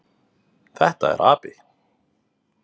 Þetta er api.